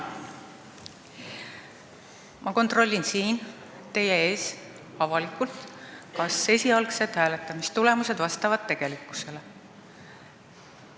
Ma kontrollin siin teie ees avalikult, kas esialgsed hääletamistulemused vastavad tegelikkusele.